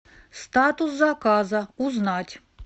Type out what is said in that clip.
статус заказа узнать